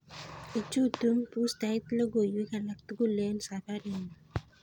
Ichutu bustait logoiywek alak tugul en safarinyun